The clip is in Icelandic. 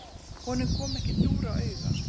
Honum kom ekki dúr á auga.